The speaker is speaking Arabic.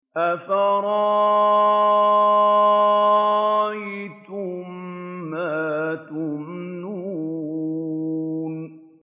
أَفَرَأَيْتُم مَّا تُمْنُونَ